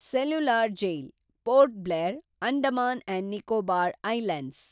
cellular jail ,Port Blair, Andaman and Nicobar islands